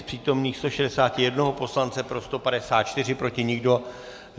Z přítomných 161 poslance pro 154, proti nikdo.